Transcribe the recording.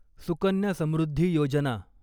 Sukanya Samriddhi Yojana